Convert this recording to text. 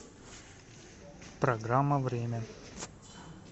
программа время